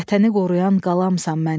Vətəni qoruyan qalamsan mənim.